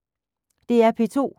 DR P2